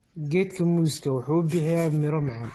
Geedka muuska wuxuu bixiya miro macaan.